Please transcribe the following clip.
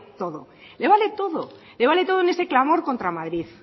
todo le vale todo le vale todo en este clamor contra madrid